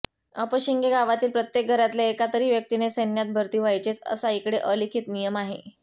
अपशिंगे गावातील प्रत्येक घरातल्या एका तरी व्यक्तीने सैन्यात भरती व्हायचेच असा इकडे अलिखित नियम आहे